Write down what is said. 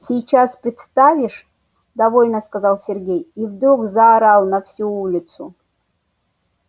сейчас представишь довольно сказал сергей и вдруг заорал на всю улицу